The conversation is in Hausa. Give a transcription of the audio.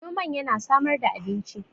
noman yana samar da abinci